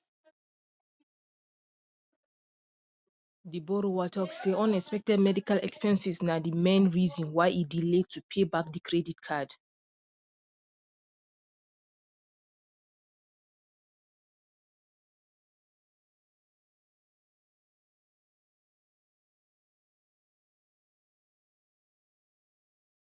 the borrower talk say unexpected medical expenses na the main reason why e delay to pay back the credit card